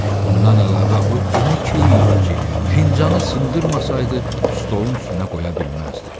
Bundan əlavə o elə key idi ki, fincanı sındırmasaydı, stolun üstünə qoya bilməzdi.